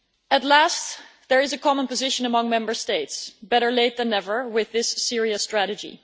At last there is a common position among Member States better late than never with this Syria strategy.